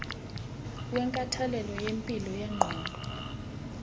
wenkathalelo yempilo yengqondo